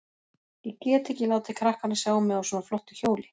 Ég get ekki látið krakkana sjá mig á svona flottu hjóli.